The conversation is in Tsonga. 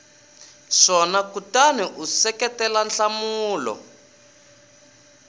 swona kutani u seketela nhlamulo